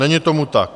Není tomu tak.